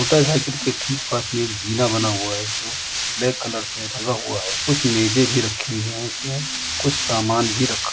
Hotel है। इनके ठीक पास में एक जीना बना हुआ है जो ब्लैक कलर से रंगा हुआ है। कुछ मेजे भी रखी हुई है इसमें कुछ सामान भी रखा --